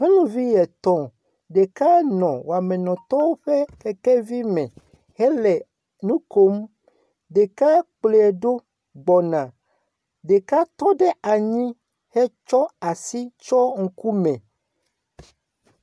Nyɔnuvi etɔ̃. Ɖeka nɔ wɔmenɔtɔwo ƒe kekevi me hele nu kom. Ɖeka kplɔe ɖo gbɔna, ɖeka tɔ ɖe anyi hetsɔ asi tsɔ ŋkume.a